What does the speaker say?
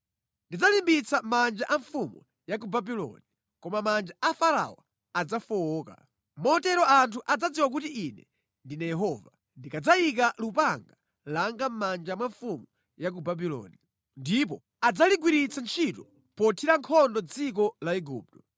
Ndidzalimbitsa manja a mfumu ya ku Babuloni, koma manja a Farao adzafowoka. Motero anthu adzadziwa kuti Ine ndine Yehova, ndikadzayika lupanga langa mʼmanja mwa mfumu ya ku Babuloni. Ndipo adzaligwiritsa ntchito pothira nkhondo dziko la Igupto.